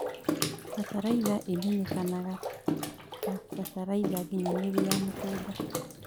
Bataraitha imenyekanagata bataraitha nginyanĩru ya mũgũnda